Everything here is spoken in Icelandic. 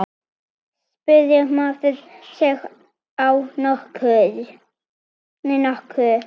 spurði maður sig á norsku.